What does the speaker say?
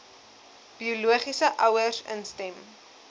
biologiese ouers instem